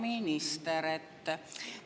Hea minister!